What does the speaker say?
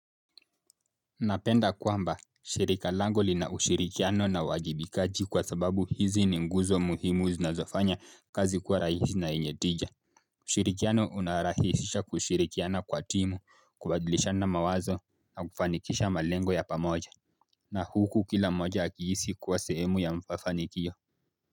Napenda kwamba shirika langu lina ushirikiano na uwajibikaji kwa sababu hizi ni nguzo muhimu zinazofanya kazi kuwa rahisi na yenye tija. Ushirikiano unarahishisha kushirikiana kwa timu kubadlishana mawazo na kufanikisha malengo ya pamoja. Na huku kila moja akiisi kuwa sehemu ya mfafanikio. Kwa hivyo.